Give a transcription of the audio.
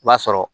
I b'a sɔrɔ